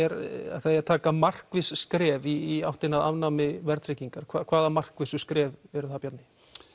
að það eigi að taka markviss skref í áttina að afnámi verðtryggingar hvaða markvissu skref eru það Bjarni